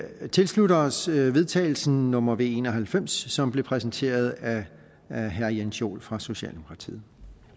vi tilslutter os forslaget til vedtagelse nummer v en og halvfems som blev præsenteret af herre herre jens joel fra socialdemokratiet